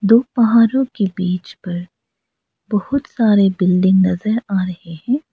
दो पहाड़ों के बीच पर बहुत सारे बिल्डिंग नजर आ रहे हैं।